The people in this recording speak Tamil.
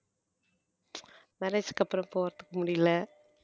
marriage க்கு அப்பறம் போகறத்துக்கு முடியல